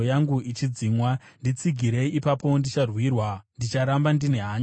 Nditsigirei, ipapo ndicharwirwa; ndicharamba ndine hanya nemitemo yenyu.